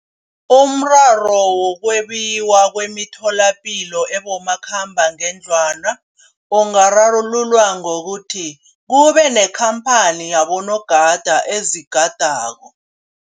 Umraro wokwebiwa kwemitholapilo ebomakhambangendlwana ungararululwa ngokuthi kube nekhamphani yabonogada ezigadako.